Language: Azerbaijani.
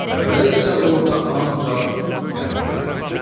Dəvə isə orda ancaq dəvəni tapdı.